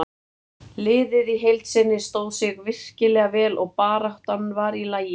Liðið í heild sinni stóð sig virkilega vel og baráttan var í lagi.